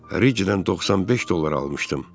Ric-dən 95 dollar almışdım.